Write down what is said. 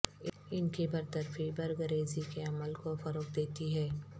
ان کی برطرفی برگ ریزی کے عمل کو فروغ دیتی ہے